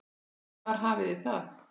Þar hafiði það.